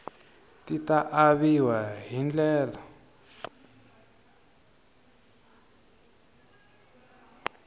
ti ta aviwa hi ndlela